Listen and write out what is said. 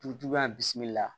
Dugu juguya bi la